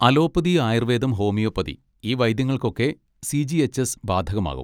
Allopathy, ആയുർവേദം, homeopathy, ഈ വൈദ്യങ്ങൾക്കൊക്കെ സി. ജി. എച്ച്. എസ് ബാധകമാവും.